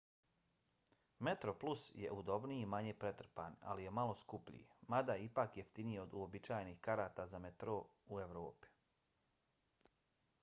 metroplus je udobniji i manje pretrpan ali je malo skuplji mada je ipak jeftiniji od uobičajenih karata za metro u evropi